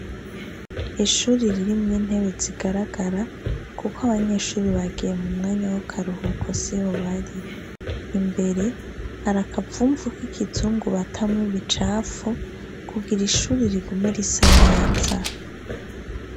Ishuri ririmwo intebe zigaragara kuko abanyeshuri bagiye mu mwanya w'akaruhuko siho bari. Imbere, hari akavumvu k' ikizungu batamwo ibicafu kugira ishuri rigume risa neza.